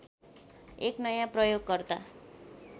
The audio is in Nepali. एक नयाँ प्रयोगकर्ता